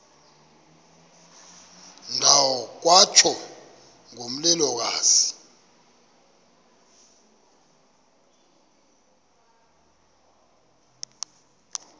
ndawo kwatsho ngomlilokazi